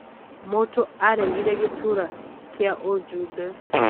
Mũtũ aregire gĩturua kĩa ũjumbe.